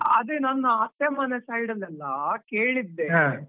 ಅದೇ ನನ್ನ ಅತ್ತೆ ಮನೆ side ಅಲ್ಲಿ ಎಲ್ಲ .